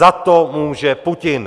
Za to může Putin!